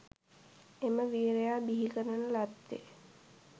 එම වීරයා බිහි කරන ලද්දේ